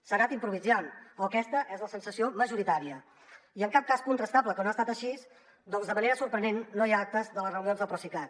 s’ha anat improvisant o aquesta és la sensació majoritària i en cap cas és contrastable que no ha estat així perquè de manera sorprenent no hi ha actes de les reunions del procicat